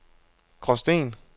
Gråsten